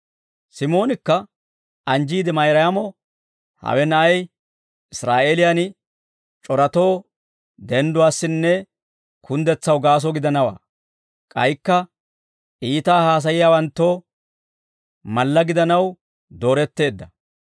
Simoonikka anjjiide Mayraamo, «Hawe Na'ay Israa'eeliyan c'oratoo dendduwaassinne kunddetsaw gaaso gidanaw, k'aykka iitaa haasayiyaawanttoo malla gidanaw dooretteedda.